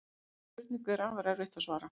Þessari spurningu er afar erfitt að svara.